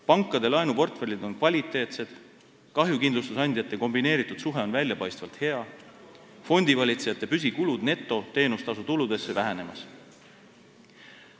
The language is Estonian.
Pankade laenuportfellid on kvaliteetsed, kahjukindlustusandjate kombineeritud suhe on väljapaistvalt hea, fondivalitsejate püsikulud netoteenustasutuludesse vähenemas.